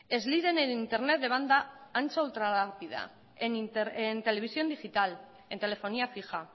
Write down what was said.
es líder en internet de banda ancha o ultra rápida en televisión digital en telefonía fija